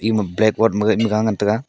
ema Black board ma ga ngan tega.